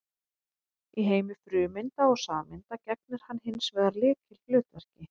Í heimi frumeinda og sameinda gegnir hann hins vegar lykilhlutverki.